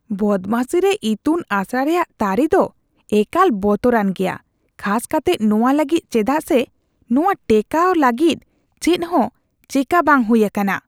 ᱵᱚᱫᱢᱟᱥᱤ ᱨᱮ ᱤᱛᱩᱱ ᱟᱥᱲᱟ ᱨᱮᱭᱟᱜ ᱛᱟᱹᱨᱤ ᱫᱚ ᱮᱠᱟᱞ ᱵᱚᱛᱚᱨᱟᱱ ᱜᱮᱭᱟ ᱠᱷᱟᱥ ᱠᱟᱛᱮᱜ ᱱᱚᱣᱟ ᱞᱟᱹᱜᱤᱫ ᱪᱮᱫᱟᱜ ᱥᱮ ᱱᱚᱣᱟ ᱴᱮᱠᱟᱣ ᱞᱟᱹᱜᱤᱫ ᱪᱮᱫᱦᱚᱸ ᱪᱮᱠᱟ ᱵᱟᱝ ᱦᱩᱭ ᱟᱠᱟᱱᱟ ᱾